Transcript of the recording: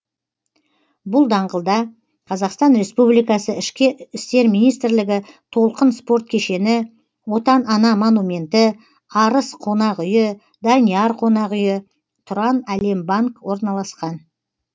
бұл даңғылда қазақстан республикасы ішкі істер министрлігі толқын спорт кешені отан ана монументі арыс қонақ үйі данияр қонақ үйі тұранәлембанк орналасқан